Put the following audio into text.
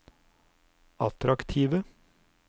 attraktive